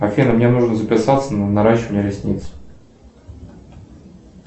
афина мне нужно записаться на наращивание ресниц